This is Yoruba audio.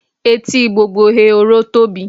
Etí gbogbo ehoro tóbi.